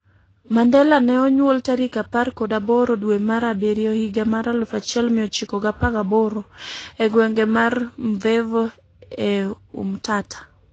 Mandela ne onyuol tarik apar kod aboro dwe mar abiriyo higa 1918, e gweng' mar Mvezo e Umtata,